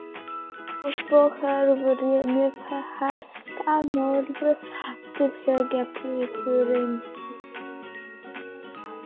Og svo þarf ég með hestana norður aftur, segir pilturinn.